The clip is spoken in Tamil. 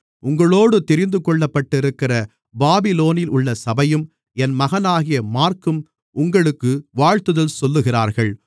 உங்களோடு தெரிந்துகொள்ளப்பட்டிருக்கிற பாபிலோனிலுள்ள சபையும் என் மகனாகிய மாற்கும் உங்களுக்கு வாழ்த்துதல் சொல்லுகிறார்கள்